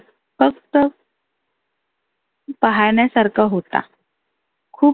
फक्त पहाण्यासारखा होता. खुप